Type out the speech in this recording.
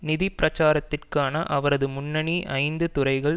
நிதி பிரச்சாரத்திற்கான அவரது முன்னணி ஐந்து துறைகள்